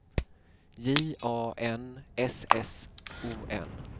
J A N S S O N